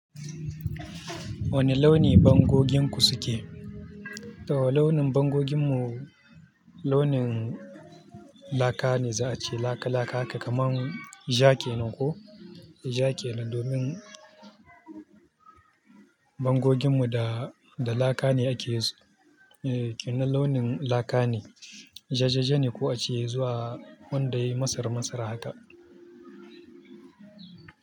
Wane launi bangoginku suke? To launin bangoginmu launin laka ne za a ce laka, laka haka kamar ja kenan ko jake nan domin bangoginmu da, da laka ne ake yi su. Eh, kenan launin laka ne. Jajaje ne ko a ce zuwa wanda yayi masar-masar haka.